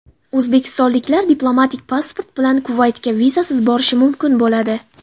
O‘zbekistonliklar diplomatik pasport bilan Kuvaytga vizasiz borishi mumkin bo‘ladi.